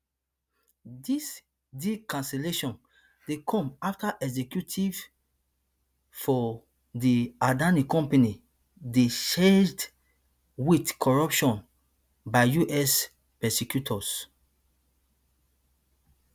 dis deal cancellation dey come afta executives for di adani company dey charged wit corruption by us prosecutors